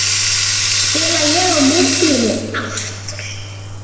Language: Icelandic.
Spila ég á miðjunni aftur?